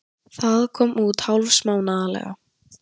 Það kom út hálfsmánaðarlega.